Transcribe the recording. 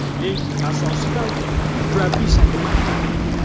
Lekin asosiy tarkibni murabbiy shakllantiradi.